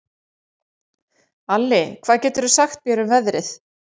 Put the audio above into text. Alli, hvað geturðu sagt mér um veðrið?